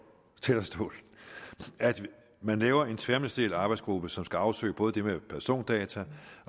talerstolen at man laver en tværministeriel arbejdsgruppe som skal afsøge både det med persondata